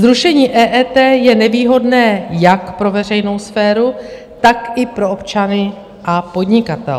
Zrušení EET je nevýhodné jak pro veřejnou sféru, tak i pro občany a podnikatele.